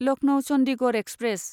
Lucknow Chandigarh express